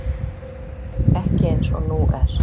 Ekki eins og nú er.